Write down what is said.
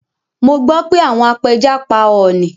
Mo gbọ́ pé àwọn apẹja pa ọọ̀ni